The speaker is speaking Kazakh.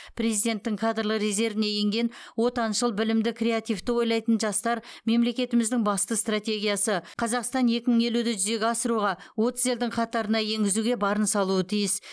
президенттің кадрлық резервіне енген отаншыл білімді креативті ойлайтын жастар мемлекетіміздің басты стратегиясы қазақстан екі мың елуді жүзеге асыруға отыз елдің қатарына енгізуге барын салуы тиіс